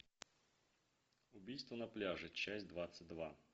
убийство на пляже часть двадцать два